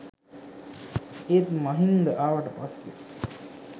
ඒත් මහින්ද ආවට පස්සේ